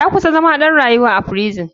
Ya kusan zama ɗan rayuwa a firison.